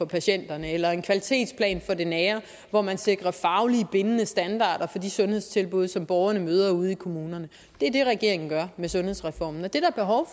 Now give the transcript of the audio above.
patienterne eller en kvalitetsplan for det nære hvor man sikrer fagligt bindende standarder for de sundhedstilbud som borgerne møder ude i kommunerne det er det regeringen gør med sundhedsreformen og det er der behov